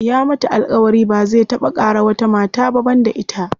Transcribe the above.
Ya mata alƙawari ba zai taɓa ƙara wata mata ba banda ita.